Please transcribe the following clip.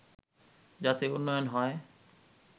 যাতে উন্নয়ন হয়